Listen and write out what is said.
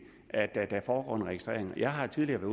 at der foregår en registrering jeg har tidligere